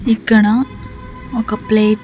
ఇక్కడ ఒక ప్లేట్ --